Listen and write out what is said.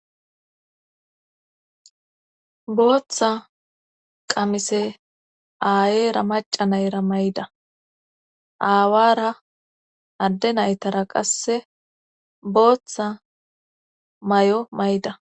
booththa qamise aayeera maca nayra mayda aawara adde naytara qasse booththa may7o mayda